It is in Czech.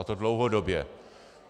A to dlouhodobě.